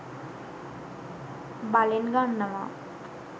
බලෙන් ගන්නවා.